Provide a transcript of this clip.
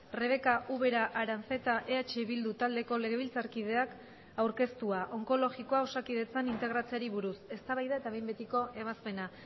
rebeka ubera aranzeta eh bildu taldeko legebiltzarkideak aurkeztua onkologikoa osakidetzan integratzeari buruz eztabaida eta behin betiko ebazpena